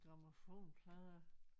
Grammofonplader